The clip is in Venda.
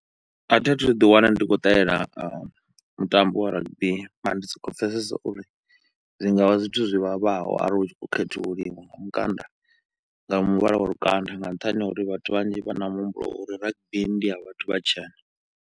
Athi athu ḓi wana ndi khou ṱalela mutambo wa rugby mara ndi soko pfhesesa uri zwi ngavha zwithu zwivhavhaho arili hutshi kho khethululiwa lukanda nga muvhala wa lukanda, nga nṱhani ha uri vhathu vhanzhi vha na muhumbulo wa uri rugby ndi ya vhathu vhatshena.